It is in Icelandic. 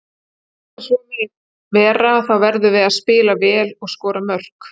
Til þess að svo megi vera þá verðum við að spila vel og skora mörk.